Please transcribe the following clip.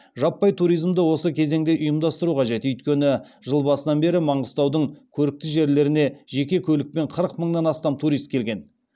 жаппай туризмді осы кезеңде ұйымдастыру қажет өйткені жыл басынан бері маңғыстаудың көрікті жерлеріне жеке көлікпен қырық мыңнан астам турист келген